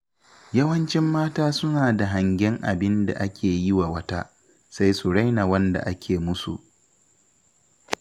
Yawancin mata suna da hangen abinda ake yiwa wata, sai su raina wanda ake musu.